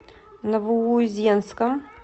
новоузенском